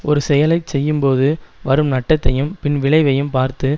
ஒரு செயலை செய்யும்போது வரும் நட்டத்தையும் பின் விளைவையும் பார்த்து